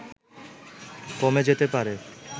কমে যেতে পারে